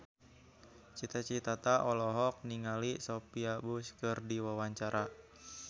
Cita Citata olohok ningali Sophia Bush keur diwawancara